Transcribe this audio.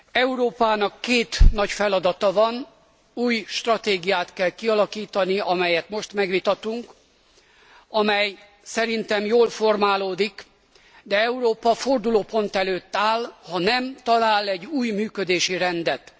Európának két nagy feladata van új stratégiát kell kialakítani, amelyet most megvitatunk, amely szerintem jól formálódik, de Európa fordulópont előtt áll, ha nem talál egy új működési rendet.